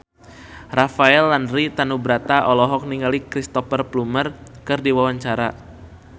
Rafael Landry Tanubrata olohok ningali Cristhoper Plumer keur diwawancara